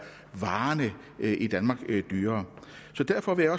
varerne i danmark dyrere så derfor vil